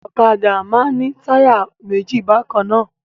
Ọ̀kadà máa ń ní táyà méjì bákan náà.